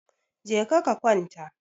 Je ka kwanta!